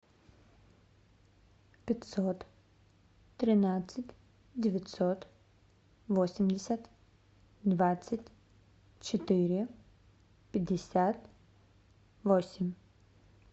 пятьсот тринадцать девятьсот восемьдесят двадцать четыре пятьдесят восемь